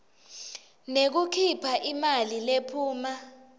ngekukhipha imali lephuma